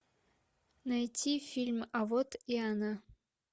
найти фильм а вот и она